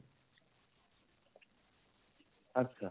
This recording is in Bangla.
আচ্ছা।